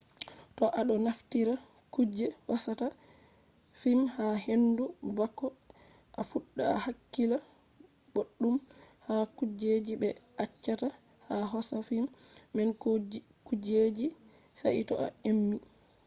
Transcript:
to a ɗo naftira kuje hosata fim ha hendu bako a fuɗɗa a hakkila boɗɗum ha kujeji ɓe acchata a hosa fim man ko kujeji jei sai to a emi